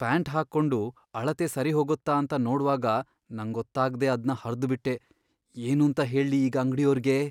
Pant ಹಾಕೊಂಡು ಅಳತೆ ಸರಿಹೋಗತ್ತಾ ಅಂತ ನೋಡ್ವಾಗ ನಂಗೊತ್ತಾಗ್ದೇ ಅದ್ನ ಹರ್ದ್ ಬಿಟ್ಟೆ. ಏನೂಂತ ಹೇಳ್ಲಿ ಈಗ ಅಂಗ್ಡಿಯೋರ್ಗೆ?